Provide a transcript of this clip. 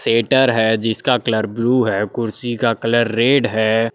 एटर है जिसका colour blue है कुर्सी का कलर रेड है।